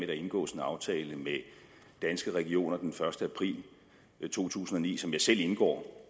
der indgås en aftale med danske regioner den første april to tusind og ni som jeg selv indgår